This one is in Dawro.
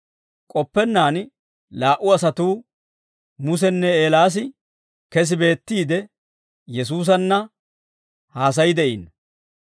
K'oppennaan laa"u asatuu, Musenne Eelaas kesi beettiide, Yesuusanna haasay de'iino.